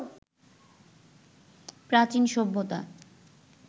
প্রাচীন সভ্যতা